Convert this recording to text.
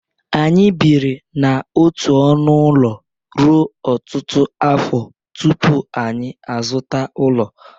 Anyị biri n'otu ọnụ ụlọ ruo ọtụtụ afọ tupu anyị azụta ụlọ.